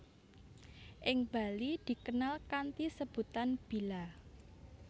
Ing Bali dikenal kanthi sebutan bila